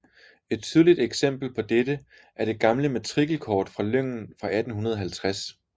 Et tydeligt eksempel på dette er det gamle matrikelkort fra lyngen fra 1850